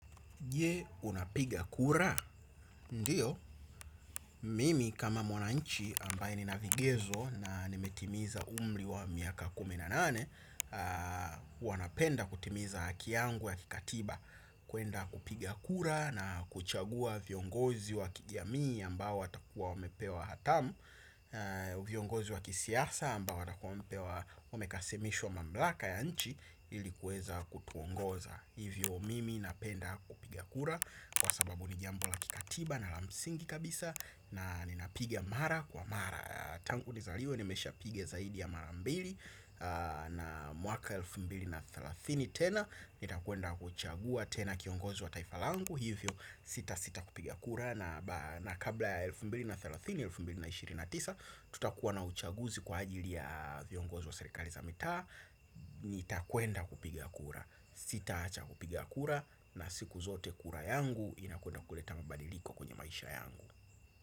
Je unapigia kura, ndiyo, mimi kama mwananchi ambaye nina vigezo na nimetimiza umri wa miaka kumi na nane aa hua napenda kutimiza haki yangu ya kikatiba, kuenda kupiga kura na kuchagua viongozi wa kijamii ambao watakuwa wamepewa hatamu. Viongozi wa kisiasa ambao watakuwa wamepewa wamekasimishwa mamlaka ya nchi ilikuweza kutuongoza. Hivyo mimi napenda kupigia kura kwa sababu ni jambo la kikatiba na la msingi kabisa na ninapiga mara kwa mara aa tangu nizaliwe nimeshapiga zaidi ya mara mbili aa na mwaka elfu mbili na thelathini tena. Nitakwenda kuchagua tena kiongozi wa taifa langu hivyo sita sita kupiga kura na ba na kabla ya elfu mbili na thelathini, elfu mbili na ishirini na tisa tutakuwa na uchaguzi kwa ajili ya viongozi wa serikali za mitaa. Nitakwenda kupiga kura sitaacha kupiga kura na siku zote kura yangu inakwenda kuleta mabadiliko kwenye maisha yangu.